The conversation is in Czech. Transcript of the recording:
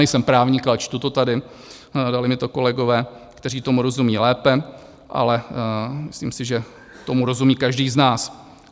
Nejsem právník, ale čtu to tady, dali mi to kolegové, kteří tomu rozumí lépe, ale myslím si, že tomu rozumí každý z nás.